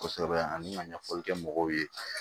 Kosɛbɛ ani ka ɲɛfɔli kɛ mɔgɔw ye